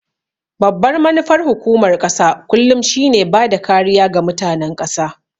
Babbar manufar hukumar ƙasa kullum shi ne bada kariya ga mutanen ƙasa